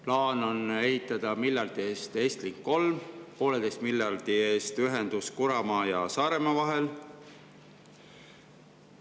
Plaan on ehitada miljardi eest Estlink 3 ning 1,5 miljardi eest ühendus Kuramaa ja Saaremaa vahel.